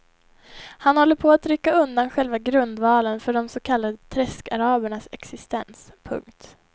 Han håller på att rycka undan själva grundvalen för de så kallade träskarabernas existens. punkt